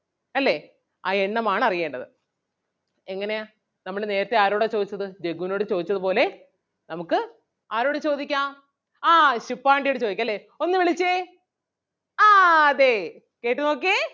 അല്ലേ ആ എണ്ണം ആണ് അറിയേണ്ടത്. എങ്ങനെയാ നമ്മള് നേരത്തെ ആരോടാ ചോദിച്ചത് ജഗ്ഗുനോട് ചോദിച്ചത് പോലെ നമുക്ക് ആരോട് ചോദിക്കാം ആഹ് ശുപ്പാണ്ടിയോട് ചോദിക്കാം അല്ലേ. ഒന്ന് വിളിച്ചേ ആഹ് അതേ കേട്ട് നോക്കിയേ.